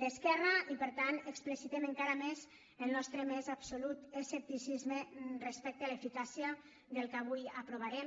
d’esquerra i per tant explicitem encara més el nostre més absolut escepticisme respecte a l’eficàcia del que avui aprovarem